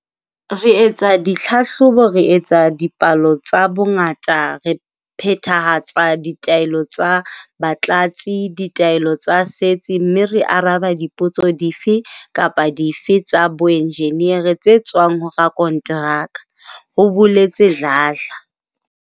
Re etsa ditlhahlobo, re etsa dipalo tsa bongata, re phethahatsa ditaelo tsa batlatsi, ditaelo tsa setsi mme re araba dipotso dife kapa dife tsa boenjeneri tse tswang ho rakonteraka, ho boletse Dladla.